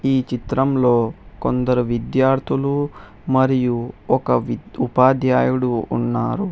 ఈ చిత్రంలో కొందరు విద్యార్థులు మరియు ఒక విద్య్ ఉపాధ్యాయుడు ఉన్నారు.